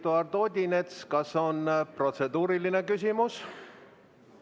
Eduard Odinets, kas on protseduuriline küsimus?